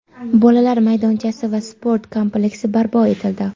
bolalar maydonchasi va sport kompleksi barpo etildi.